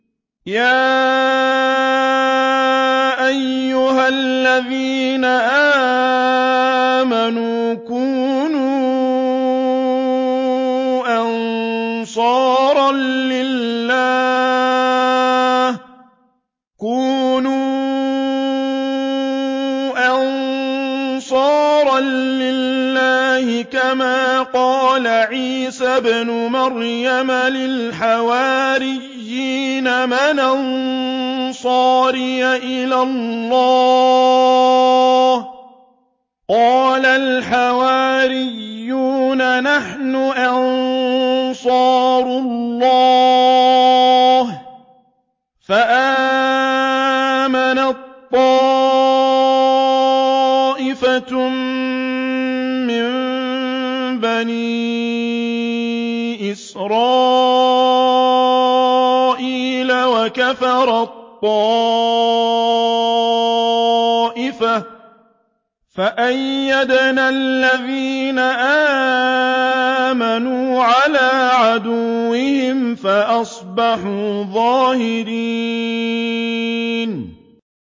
يَا أَيُّهَا الَّذِينَ آمَنُوا كُونُوا أَنصَارَ اللَّهِ كَمَا قَالَ عِيسَى ابْنُ مَرْيَمَ لِلْحَوَارِيِّينَ مَنْ أَنصَارِي إِلَى اللَّهِ ۖ قَالَ الْحَوَارِيُّونَ نَحْنُ أَنصَارُ اللَّهِ ۖ فَآمَنَت طَّائِفَةٌ مِّن بَنِي إِسْرَائِيلَ وَكَفَرَت طَّائِفَةٌ ۖ فَأَيَّدْنَا الَّذِينَ آمَنُوا عَلَىٰ عَدُوِّهِمْ فَأَصْبَحُوا ظَاهِرِينَ